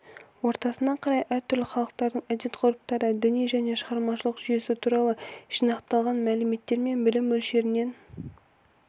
ортасына қарай әртүрлі халықтардың әдет-ғұрыптары діни және шығармашылық жүйесі туралы жинақталған мәліметтер мен білім мөлшерінен